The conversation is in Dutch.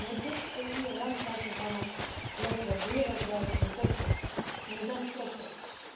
En met dit EU ruimtevaartprogramma lopen we wereldwijd in de kopgroep. Daar zijn we trots op.